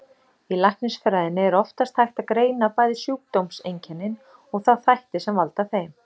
Í læknisfræðinni er oftast hægt að greina bæði sjúkdómseinkennin og þá þætti sem valda þeim.